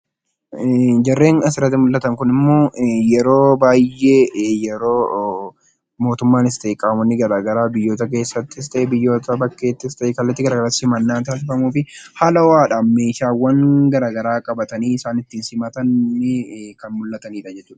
Jarreen asirratti mul'atan kunimmoo yeroo baay'ee yeroo mootummaanis ta'ee qaamni mootummaa biyya keessattis ta'ee bakkeetti kallattii garaagaraatiin simannaa taasifamuufiin haala ho'aadhaan meeshaawwan garaagaraa qabatanii kan isaan ittiin simatan kan mul'atudha.